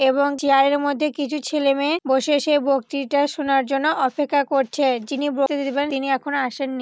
এবং চিয়ারের মধ্যে কিছু ছেলেমেয়ে বসে সে বক্তৃতা শোনার জন্য অপেক্ষা করছে। যিনি বক্তৃতা দিবেন তিনি এখনও আসেননি।